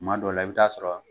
Tuma dɔw la i bɛ taa sɔrɔ